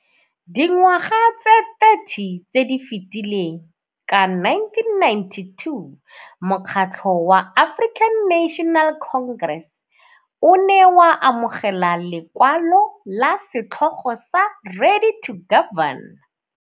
Dingwaga tse 30 tse di fetileng, ka 1992, Mokgatlho wa African National Congress o ne wa amogela lekwalo la setlhogo sa 'Ready to Govern'.